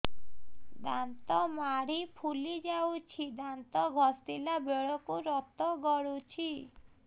ଦାନ୍ତ ମାଢ଼ୀ ଫୁଲି ଯାଉଛି ଦାନ୍ତ ଘଷିଲା ବେଳକୁ ରକ୍ତ ଗଳୁଛି